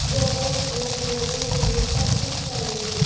robot لوگ لوگوں کے لئے سب کچھ کریں گے